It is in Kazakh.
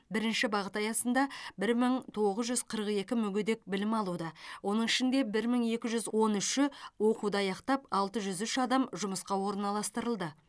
бірінші бағыты аясында бір мың тоғыз жүз қырық екі мүгедек білім алуда оның ішінде бір мың екі жүз он үші оқуды аяқтап алты жүз үш адам жұмысқа орналастырылды